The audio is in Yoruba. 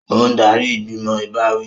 Ó ń darí ìgbìmọ̀ ìbáwí